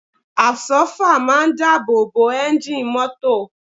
Àbsọ́fà máa ń dáàbò bo ẹ́ńjì mọ́tò